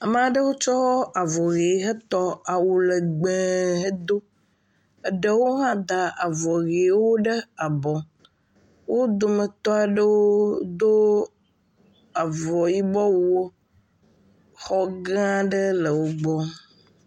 Ame aɖewo kɔ avɔ ɣi he tɔ awu legbẽ hedo. Eɖewo hã da abɔ ɣiwo ɖe go. Wo dometɔ aɖewo do avɔ yibɔ wuwo. Xɔ gã aɖe le wògbɔ.